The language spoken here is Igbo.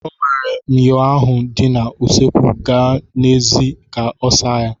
O were myọ ahụ dị na usekwu gawa n'èzí ka ọ saa ya.